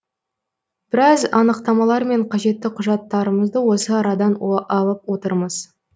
біраз анықтамалар мен қажетті құжаттарымызды осы арадан алып отырмыз